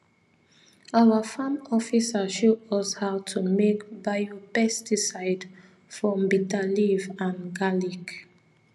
our farm officer show us how to make biopesticide from bitter leaf and garlic